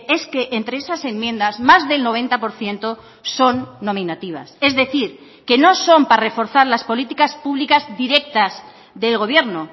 es que entre esas enmiendas más del noventa por ciento son nominativas es decir que no son para reforzar las políticas públicas directas del gobierno